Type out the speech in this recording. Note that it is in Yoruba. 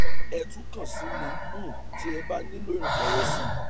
ẹ tún kàn sí mi um tí ẹ bá nílò ìrànlọwọ síi